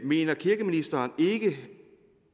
mener kirkeministeren ikke